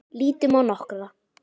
Lítum á nokkra.